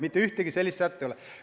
Mitte ühtegi sellist sätet ei ole.